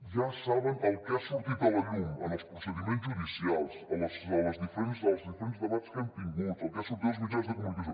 ja saben el que ha sortit a la llum en els procediments judicials en els diferents debats que hem tingut el que ha sortit als mitjans de comunicació